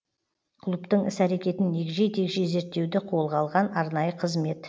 клубтың іс әрекетін егжей тегжей зерттеуді қолға алған арнайы қызмет